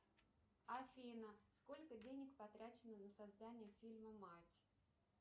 афина сколько денег потрачено на создание фильма мать